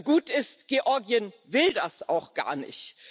Gut ist Georgien will das auch gar nicht.